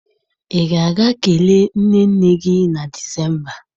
Ị ga-aga kelee nne nne gị na Disemba!